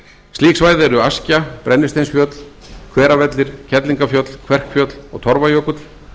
slík svæði eru askja brennisteinsfjöll hveravellir kerlingarfjöll kverkfjöll og torfajökull